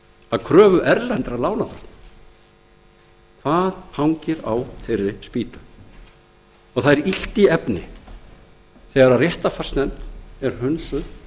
að kröfu erlendra lánardrottna hvað hangir á þeirri spýtu það er illt í efni þegar réttarfarsnefnd er hunsuð